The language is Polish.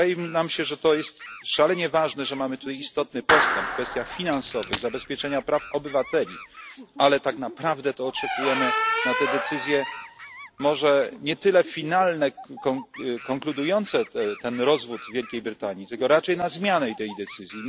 Wydaje nam się, że to jest szalenie ważne, że mamy tu istotny postęp w kwestiach finansowych, zabezpieczenia praw obywateli, ale tak naprawdę to oczekujemy na te decyzje może nie tyle finalne, konkludujące ten rozwód Wielkiej Brytanii, tylko raczej na zmianę tej decyzji.